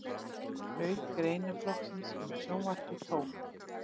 Auk greinaflokksins um sjónvarpið tók